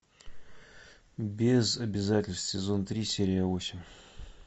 без обязательств сезон три серия восемь